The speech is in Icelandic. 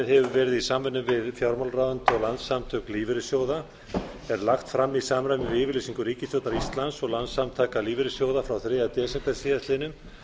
hefur verið í samvinnu við fjármálaráðuneytið og landssamtök lífeyrissjóða er lagt fram í samræmi við yfirlýsingu ríkisstjórnar íslands og landssamtaka lífeyrissjóða frá þriðja desember síðastliðnum